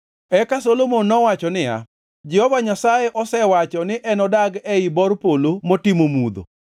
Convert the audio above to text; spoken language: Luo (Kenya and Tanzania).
Eka Solomon nowacho niya, “Jehova Nyasaye osewacho ni enodag ei bor polo motimo mudho.